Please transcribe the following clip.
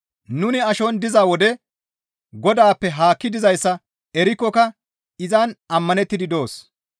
Nuni ashon diza wode Godaappe haakki dizayssa erikkoka izan ammanettidi doos.